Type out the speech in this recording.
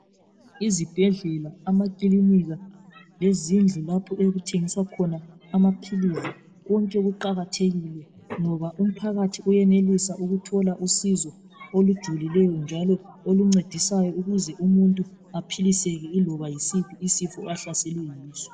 Izibhedlela, amakilinika lezindlu lapho okuthengiswa khona amaphilisi konke kuqakathekile ngoba umphakathi uyenelisa ukuthola usizo olujulileyo njalo oluncedisayo ukuze umuntu aphiliseke iloba yisiphi isifo ahlaselwe yiso.